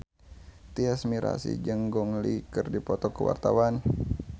Tyas Mirasih jeung Gong Li keur dipoto ku wartawan